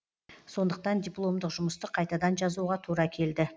сондықтан дипломдық жұмысты қайтадан жазуға тура келді